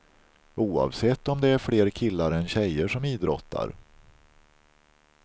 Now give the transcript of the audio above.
Oavsett om det är fler killar än tjejer som idrottar.